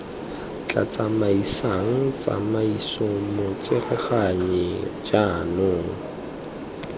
tla tsamaisang tsamaiso motsereganyi jaanong